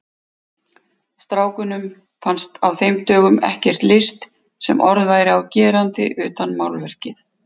Strákunum fannst á þeim dögum ekkert list sem orð væri á gerandi utan málverkið.